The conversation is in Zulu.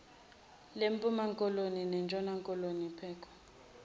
lempumakoloni nentshonakoloni pococ